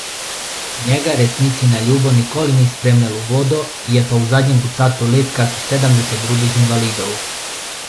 Njega resnici na ljubo nikoli ni spremljal v vodo, je pa v zadnjem ducatu let kakih sedemdeset drugih invalidov.